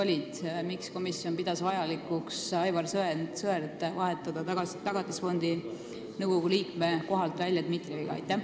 Miks pidas komisjon vajalikuks vahetada Aivar Sõerd välja ja panna tema asemel Tagatisfondi nõukogu liikmeks Dmitrijev?